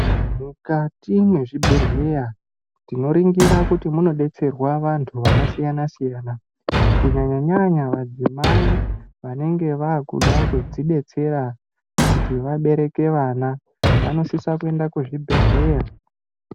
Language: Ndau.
Mukati mwezvibhedhleya tinoringira kuti muno detserwa vantu vakasiyana siyana kunyanya nyanya madzimai vanenge vakuda kudzidetsera kuti vabereke vana vanosisa kuenda kuzvibhedhleya.